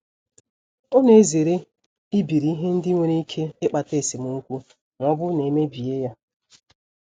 Ọ na-ezere ibiri ihe ndị nwere ike ịkpata esemokwu ma ọ bụrụ na e mebie ya.